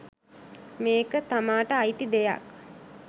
මේක තමාට අයිති දෙයක්